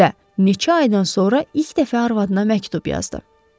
Və neçə aydan sonra ilk dəfə arvadına məktub yazdı.